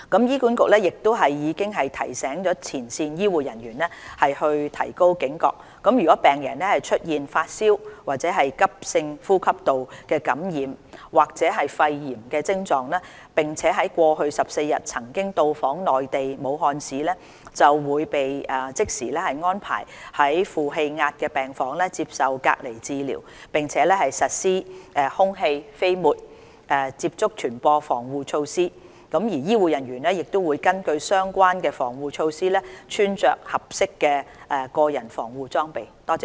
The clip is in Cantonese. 醫管局已提醒前線醫護人員提高警覺，如病人出現發燒、急性呼吸道感染或肺炎徵狀，並在過去14日內曾到訪內地武漢市，會被即時安排在負氣壓病房接受隔離治療，並實施空氣、飛沫及接觸傳播防護措施，醫護人員會根據相關防護措施穿着合適的個人防護裝備。